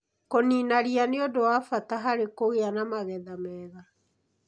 Kũniina ria nĩ ũndũ wa bata harĩ kũgĩa na magetha mega